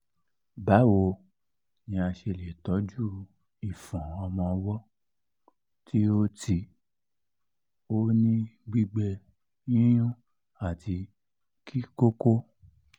báwo ni a ṣe lè tọ́jú ìfọ́n ọmọ ọwọ́ tí ó tí ó ní gbígbẹ yíyún àti kíkókó?